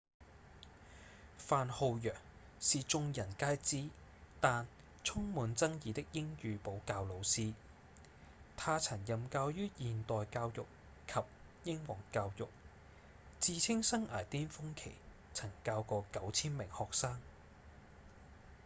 范浩揚是眾人皆知但充滿爭議的英語補教老師他曾任教於現代教育及英皇教育自稱生涯顛峰期曾教過 9,000 名學生